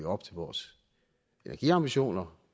op til vores energiambitioner